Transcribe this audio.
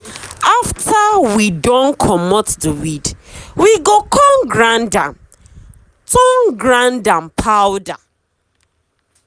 after we don comot the weedwe go con grind am turn grind am turn powder.